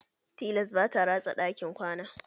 Tilas ba ta rasa ɗakin kwana.